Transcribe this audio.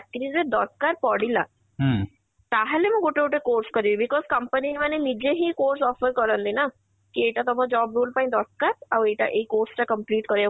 ଚାକିରୀ ରେ ଦରକାର ପଡିଲା ତାହାଲେ ମୁଁ ଗୋଟେ ଗୋଟେ course କରିବି because company ମାନେ ନିଜେ ହିଁ course offer କରନ୍ତି ନା କି ଏଇଟା ତମ job role ପାଇଁ ଦରକାର ଆଉ ଏଇଟା ଏଇ course ତା complete କରିବାକୁ